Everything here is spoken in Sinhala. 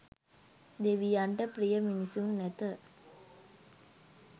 දෙවියන්ට ප්‍රිය මිනිසුන් ඇත.